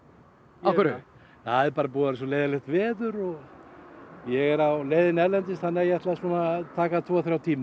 af hverju það er bara búið að vera svo leiðinlegt veður og ég er á leiðinni erlendis þannig að ég ætla að taka tvo þrjá tíma